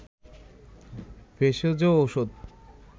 ভেষজ ঔষধ